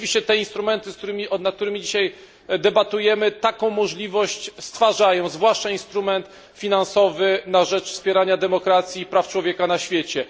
I rzeczywiście te instrumenty, nad którymi dzisiaj debatujemy, taką możliwość stwarzają, zwłaszcza instrument finansowy na rzecz wspierania demokracji i praw człowieka na świecie.